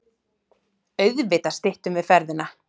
Auðvitað styttum við ferðina.